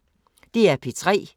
DR P3